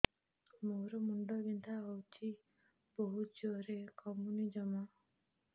ମୋର ମୁଣ୍ଡ ବିନ୍ଧା ହଉଛି ବହୁତ ଜୋରରେ କମୁନି ଜମା